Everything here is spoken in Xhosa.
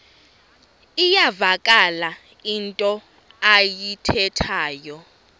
iyavakala into ayithethayo